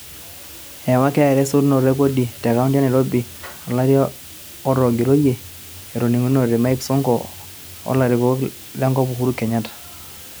Eewa KRA esotunoto e kodi te kaonti e Nairobi to lari otogiroyie, etoniningikinote Mike Sonko o larikoni enkop Uhuru Kenyatta.